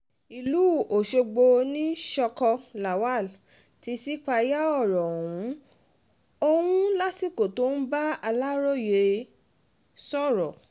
ìlú ọ̀ṣọ́gbó ní sọ́ọ̀kọ̀ lawal ti ṣípayá ọ̀rọ̀ um ọ̀hún lásìkò tó ń bá um aláròye sọ̀rọ̀